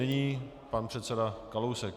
Nyní pan předseda Kalousek.